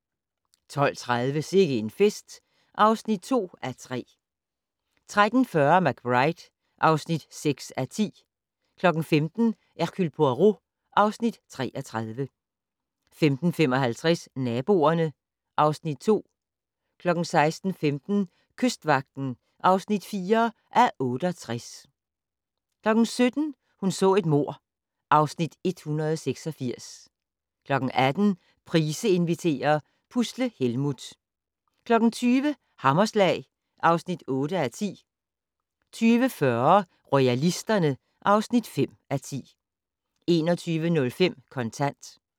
12:30: Sikke en fest (2:3) 13:40: McBride (6:10) 15:00: Hercule Poirot (Afs. 33) 15:55: Naboerne (Afs. 2) 16:15: Kystvagten (4:68) 17:00: Hun så et mord (Afs. 186) 18:00: Price inviterer - Pusle Helmuth 20:00: Hammerslag (8:10) 20:40: Royalisterne (5:10) 21:05: Kontant